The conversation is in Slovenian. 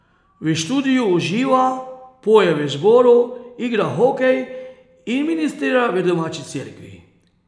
V študiju uživa, poje v zboru, igra hokej in ministrira v domači cerkvi.